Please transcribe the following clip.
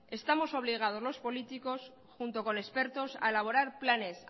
estamos obligados los políticos junto con expertos a elaborar planes